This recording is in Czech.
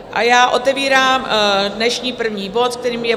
A já otevírám dnešní první bod, kterým je